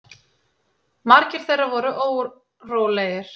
Margir þeirra voru órólegir.